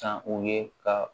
San u ye ka